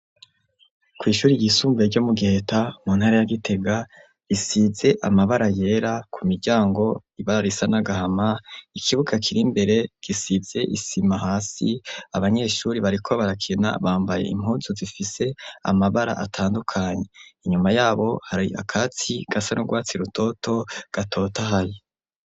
Kw'ishuri ryisumbuye, ryo mu Giheta, mu ntara ya Gitega, risize amabara yera, ku miryango, ibara risa n'agahama; ikibuga kiri imbere, gisize isima hasi; abanyeshuri bariko barakina, bambaye impuzu, zifise amabara atandukanye; inyuma y'abo, hari akatsi, gasa n'urwatsi rutoto, gatotahaye.